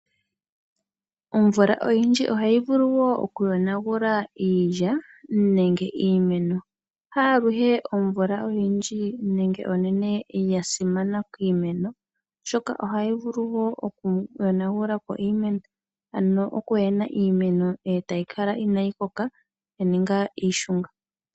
Omvula oyindji ohayi vulu okuyonagula iilya nenge iimeno ha aluhe ovula oyindji nenge onene ya simana kiimeno oshoka ohayi vulu okuyonagulapo iimeno okuhena etayi kala inayi koka yaninga iishung.